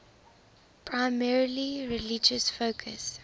primarily religious focus